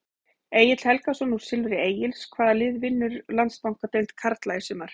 Egill Helgason úr Silfri Egils Hvaða lið vinnur Landsbankadeild karla í sumar?